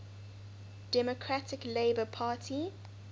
democratic labour party